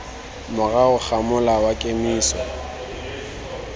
morago ga mola wa kemiso